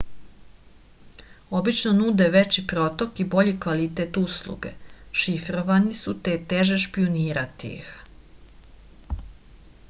obično nude veći protok i bolji kvalitet usluge šifrovani su te je teže špijunirati ih